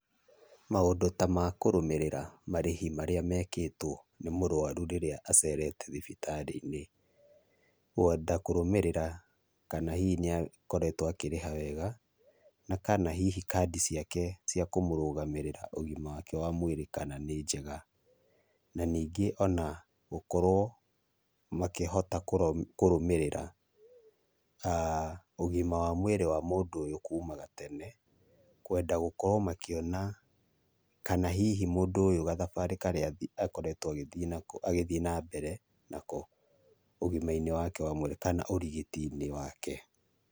Maũndũ ta makũrũmĩrĩra marĩhi marĩa mekĩtwo nĩ mũrwarũ rĩrĩa acerete thibitarĩ-inĩ, kũhota kũrũmĩrĩra kana hihi nĩ akoretwo akĩrĩha wega, na kana hihi kandi ciake cia kũmũrũgamĩrĩra ũgima wake ma mwĩrĩ kana nĩ njega, na ningĩ ona gũkorwo makĩhota kũrũmĩrĩra a ugima wa mwirĩ wa mũndũ ũyũ kũma gatene. Kwenda gũkorwo makĩona kana hihi mũndũ ũyũ gathabarĩ karĩa akoretwo agĩthiĩ nako, agĩthiĩ nambere nako, ũgĩma-inĩ wake wa mwirĩ kana ũrigiti-inĩ wake.